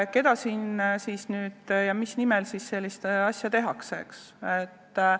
Kelle ja mille nimel sellist asja tehakse?